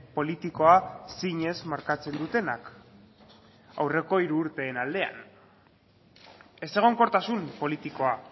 politikoa zinez markatzen dutenak aurreko hiru urteen aldean ezegonkortasun politikoa